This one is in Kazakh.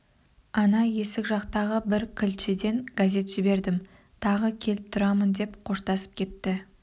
ана есік жақтағы бір кілтшіден газет жібердім тағы келіп тұрамын деп қоштасып кетті